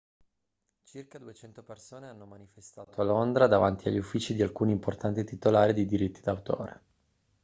circa 200 persone hanno manifestato a londra davanti agli uffici di alcuni importanti titolari di diritti d'autore